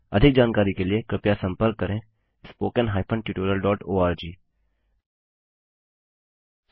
अधिक जानकारी के लिए कृपया contactspoken hyphen tutorial dot org पर संपर्क करें